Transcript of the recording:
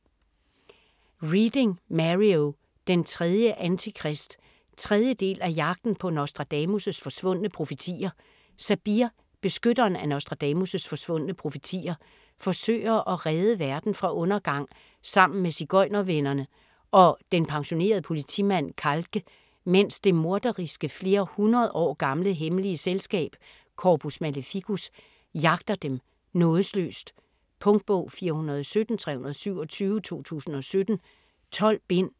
Reading, Mario: Den tredje Antikrist 3. del af Jagten på Nostradamus' forsvundne profetier. Sabir, beskytteren af Nostradamus' forsvundne profetier, forsøger at redde verden fra undergang sammen med sigøjnervennerne og den pensionerede politimand Calque, medens det morderiske, flere hundrede år gamle hemmelige selskab, Corpus Maleficus, jagter dem nådesløst. Punktbog 417327 2017. 12 bind.